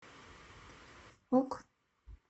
ок